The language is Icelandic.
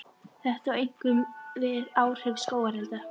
Þetta á einkum við um áhrif skógarelda.